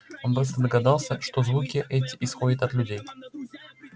он быстро догадался что звуки эти исходят от людей